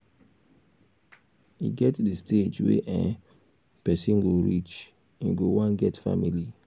e get di stage wey um person go reach im go wan get family